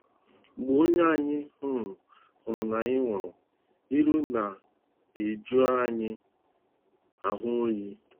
Mgbe onye anyị um hụrụ n'anya nwụrụ, iru na-eju anyị ahụ oyi.